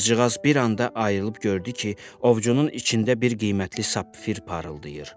Qızcığaz bir anda ayılıb gördü ki, ovcunun içində bir qiymətli sapfir parıldayır.